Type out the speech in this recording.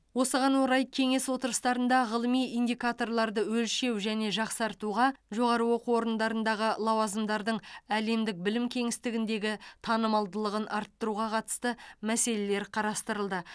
осыған орай кеңес отырыстарында ғылыми индикаторларды өлшеу және жақсартуға жоғары оқу орындарындағы лауазымдардың әлемдік білім кеңістігіндегі танымалдылығын арттыруға қатысты мәселелер қарастырылды